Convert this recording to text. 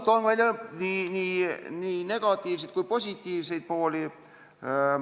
Toon välja nii negatiivseid kui ka positiivseid pooli.